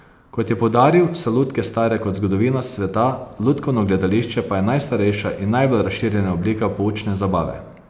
Kot je poudaril, so lutke stare kot zgodovina sveta, lutkovno gledališče pa je najstarejša in najbolj razširjena oblika poučne zabave.